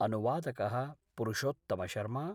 अनुवादक: पुरुषोत्तमशर्मा